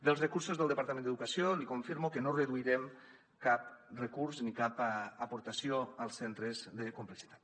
dels recursos del departament d’educació li confirmo que no reduirem cap recurs ni cap aportació als centres de complexitat